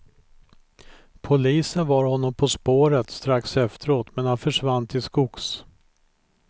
Polisen var honom på spåret strax efteråt, men han försvann till skogs.